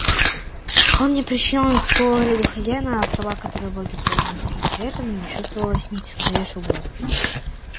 он не причинял никакого вреда хозяину а в словах которые боги произносили при этом не чувствовалось ни малейшей угрозы